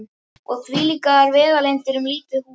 Og þvílíkar vegalengdir um lítið hús.